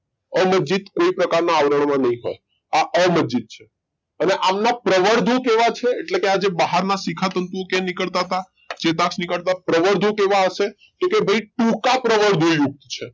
અમજ્જિત કોઈ પ્રકાર ના આવરણ માં નઈ હોય આ અમજ્જિત છે અને આમના પ્રવર્ધો કેવા છે એટલે કે આ જે બહાર ના શિખાતંતુ ઓ કેમ નીકળતા તા ચેતાક્ષ ની કરતા પ્રવર્ધો કેવા હશે તો કે ભઈ ટૂંકા પ્રવર્ધો યુક્ત છે